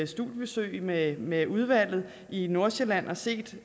studiebesøg med med udvalget i nordsjælland og set